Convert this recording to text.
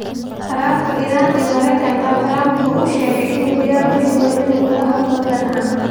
Khilaafka Iran iyo Maraykanka: Trump waxa uu sheegay in uu diyaar u yahay in uu la hadlo Tehran